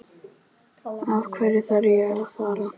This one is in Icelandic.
Af hverju þarf ég að fara?